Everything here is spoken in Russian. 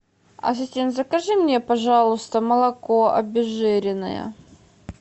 ассистент закажи мне пожалуйста молоко обезжиренное